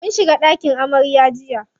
Mun shiga ɗakin amarya jiya.